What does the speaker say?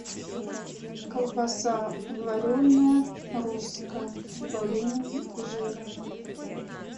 колбаса вареная русская с добавлением жира